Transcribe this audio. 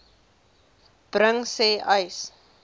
bring sê uys